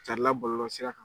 Carinla bɔlɔlɔsira kan